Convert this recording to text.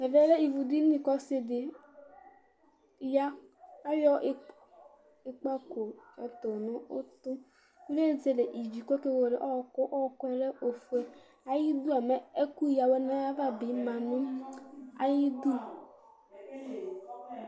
Ɛvɛ lɛ ivudini kʋ ɔsɩ dɩ ya Ayɔ ikpǝko tʋ nʋ ʋtʋ Ezele ivi kʋ ɔkewele ɔɣɔkʋ Ɔɣɔkʋ yɛ lɛ ofue Ayidu a, ɛkʋyǝ awɛ nʋ ayava bɩ ma nʋ ayidu